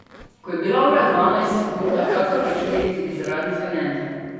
Ko je bila ura dvanajst, so pouk na kratko prekinili tudi zaradi zvonjenja.